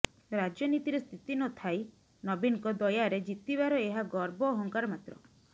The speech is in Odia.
ରାଜନୀତିରେ ସ୍ଥିତି ନ ଥାଇ ନବୀନଙ୍କ ଦୟାରେ ଜିତିବାର ଏହା ଗର୍ବ ଅହଙ୍କାର ମାତ୍ର